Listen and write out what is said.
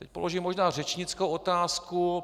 Teď položím možná řečnickou otázku.